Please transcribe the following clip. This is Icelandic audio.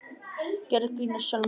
Gerðu grín að sjálfum þér.